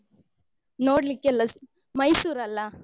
ನೋಡ್ಲಿಕ್ಕೆಲ್ಲಾ ಮೈಸೂರಲ್ಲ.